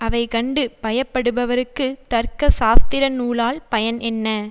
அவைகண்டு பயப்படுபவர்க்குத் தர்க்க சாஸ்திர நூலால் பயன் என்ன